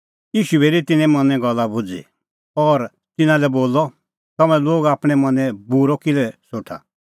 ईशू बी हेरी तिन्नें मनें गल्ल भुझ़ी और तिन्नां लै बोलअ तम्हैं लोग आपणैं मनैं बूरअ किल्है सोठा